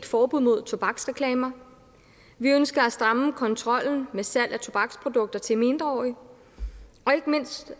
forbud mod tobaksreklamer vi ønsker at stramme kontrollen med salg af tobaksprodukter til mindreårige og ikke mindst